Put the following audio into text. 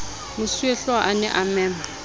mosuwehlooho a ne a mema